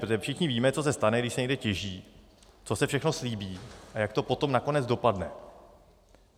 Protože všichni víme, co se stane, když se někde těží, co se všechno slíbí a jak to potom nakonec dopadne.